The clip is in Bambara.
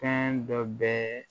Fɛn dɔ bɛ